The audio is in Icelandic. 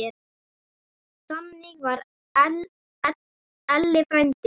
Þannig var Elli frændi.